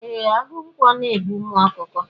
E, agụ ǹkwọ na e bu umu ọkụkọ.